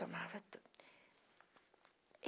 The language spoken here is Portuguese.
Tomava tudo.